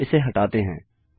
अतः इसे हटाते हैं